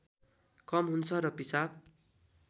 कम हुन्छ र पिसाब